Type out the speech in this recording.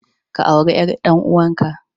Ka auri ƴar ɗanuwanka.